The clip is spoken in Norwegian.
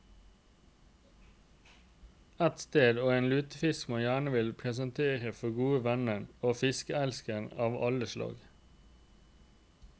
Et sted og en lutefisk man gjerne vil presentere for gode venner og fiskeelskere av alle slag.